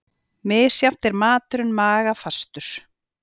Misjafnt er maturinn magafastur.